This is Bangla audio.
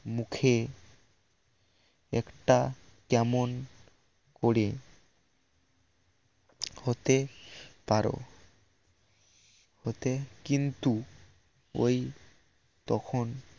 মুখে একটা কেমন করে হতে পারো হতে কিন্তু ওই তখন